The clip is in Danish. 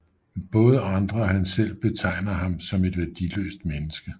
Både andre og han selv betegner ham som et værdiløst menneske